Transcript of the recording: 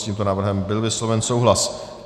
S tímto návrhem byl vysloven souhlas.